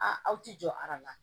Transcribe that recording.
A aw ti jɔ aran na